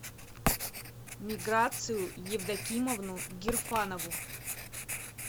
миграцию евдокимовну гирфанову